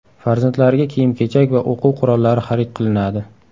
Farzandlariga kiyim-kechak va o‘quv qurollari xarid qilinadi.